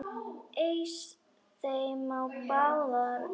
Eys þeim á báðar hendur!